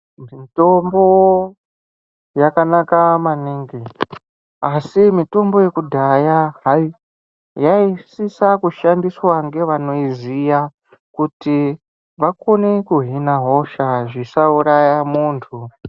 Mitombo yakanaka maningi asi mitombo yakudhaya yaisisa kushandiswa ngevanoiziya. Kuti vakone kuhina hosha zvisauraya muntu.